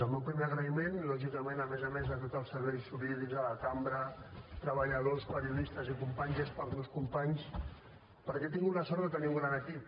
el meu primer agraïment lògicament a més a més a tot els serveis jurídics de la cambra treballadors periodistes i companys és per als meus companys perquè he tingut la sort de tenir un gran equip